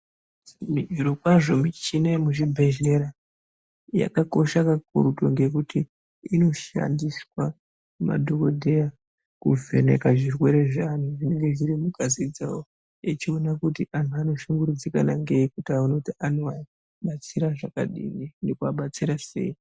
Zvirokwazvo michina yemuzvibhedhlera yakakosha kakurutu ngekuti inoshandiswa ngemadhokodheya kuvheneka zvirwere zveantu zvinenge zviri mungazi dzavo echiona kuti anhu anoshungurudzika ngei kuti aone anoabatsira sei.